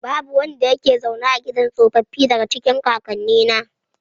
Babu wanda yake zaune a gidan tsofaffi, daga cikin kakannina.